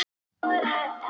En hvaðan kemur sá forði?